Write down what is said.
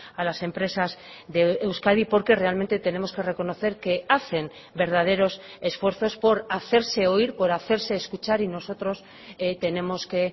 a las empresas de euskadi porque realmente tenemos que reconocer que hacen verdaderos esfuerzos por hacerse oír por hacerse escuchar y nosotros tenemos que